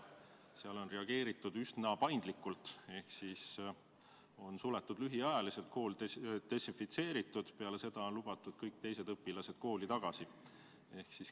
Seal on reageeritud üsna paindlikult ehk kool on suletud lühiajaliselt, kool on desinfitseeritud ja peale seda on lubatud kõik teised õpilased kooli tagasi.